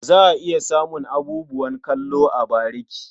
Za ka iya samun abubuwan kallo a bariki.